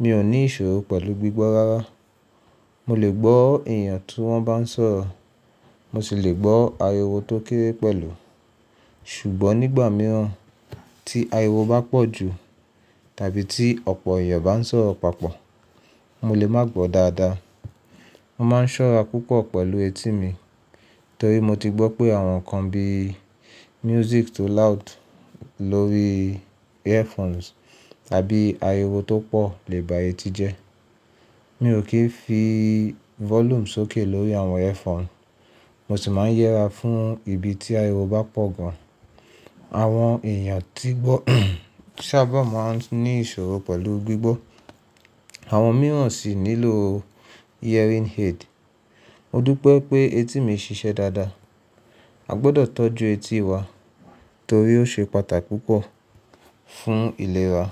Mi ò ní ìṣòro pẹ̀lú gbígbọ́ rárá. Mo lè gbọ́ èèyàn tí wọ́n bá ń sọ̀rọ̀, mo sì lè gbọ́ ariwo tó kéré pẹ̀lú. Ṣùgbọ́n nígbà mìíràn tí ariwo bá pọ̀ jù tàbí tí ọ̀pọ̀ èèyàn bá ń sọ̀rọ̀ papọ̀, mo lè má gbọ́ dáadáa. Mo má ń ṣọ́ra púpọ̀ pẹ̀lú etí mi torí mo ti gbọ́ pé àwọn nǹkan bí music tó loud lórí earphones tàbí ariwo tó pọ̀ lè ba etí jẹ́. Mi ò kì í fi volume sókè lórí àwọn earphone, mo sì máa ń yẹra fún ibi tí ariwo bá pọ̀ gan. Àwọn èèyàn tí gbọ́ sábà máa ń ní ìṣòro pẹ̀lú gbígbọ́, àwọn míràn sì nílò hearing aid. Mo dúpẹ́ pé etí mi ṣíṣe dáadáa. A gbọdọ̀ tọ́jú etí wa torí ó ṣe pàtà púpọ̀ fún ìlera.